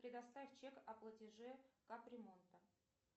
предоставь чек о платеже кап ремонта